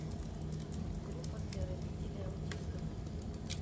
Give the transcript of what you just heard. группа для родителей аутистов